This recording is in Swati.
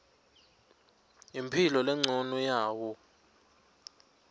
imphilo lencono yawo